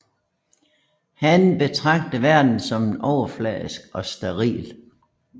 Han betragter verden som overfladisk og steril